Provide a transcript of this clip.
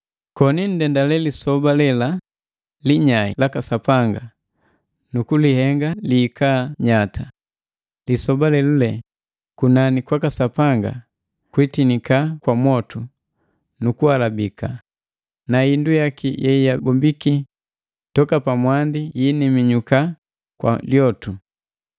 koni nndendale lisoba lela linyai laka Sapanga nu kulihenga lihika nyata, lisoba lelule kunani kwaka Sapanga itinika kwa mwotu nu kuhalabika na indu yaki yeyabombiki toka mwandi yiiniminyuka kwa lyotu.